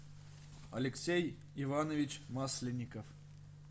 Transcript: алексей иванович масленников